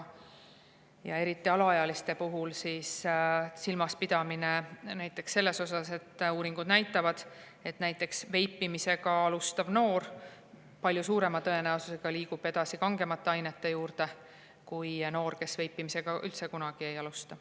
Eriti alaealiste puhul silmas pidada seda, et uuringud näitavad, et näiteks veipimisega alustanud noor liigub palju suurema tõenäosusega edasi kangemate ainete juurde kui noor, kes veipimist üldse kunagi ei alusta.